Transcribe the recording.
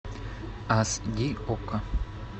ас ди окко